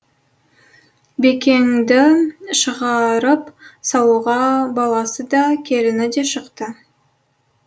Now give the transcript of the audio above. бекеңді шығарып салуға баласы да келіні де шықты